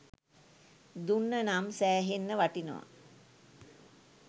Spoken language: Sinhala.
දුන්නනම් සෑහෙන්න වටිනව